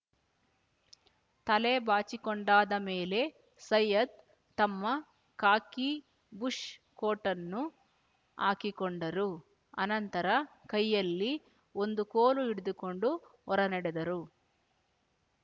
ತಲೆ ಬಾಚಿಕೊಂಡಾದ ಮೇಲೆ ಸೈಯದ್ ತಮ್ಮ ಖಾಕಿ ಬುಷ್ ಕೋಟ್ ಅನ್ನು ಹಾಕಿಕೊಂಡರು ಅನಂತರ ಕೈಯಲ್ಲಿ ಒಂದು ಕೋಲು ಹಿಡಿದುಕೊಂಡು ಹೊರನಡೆದರು